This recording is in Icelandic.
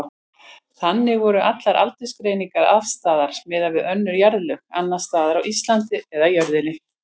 Þannig voru allar aldursgreiningar afstæðar miðað við önnur jarðlög, annars staðar á Íslandi eða jörðinni.